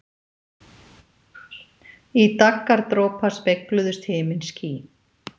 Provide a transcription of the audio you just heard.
Í daggardropa spegluðust himinský.